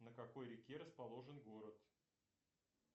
на какой реке расположен город